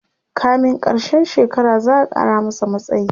kamin karshen shekara za'a Kara masa matsayi